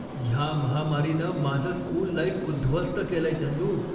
ह्या महामारीनं माझं स्कूल लाइफ उद्ध्वस्त केलंय, चंदू.